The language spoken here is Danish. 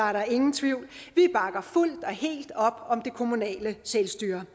er der ingen tvivl vi bakker fuldt og helt op om det kommunale selvstyre